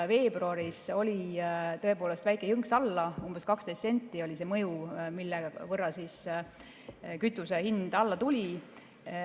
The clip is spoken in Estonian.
Veebruaris oli tõepoolest väike jõnks alla, umbes 12 senti oli see mõju, mille võrra kütuse hind alla tuli.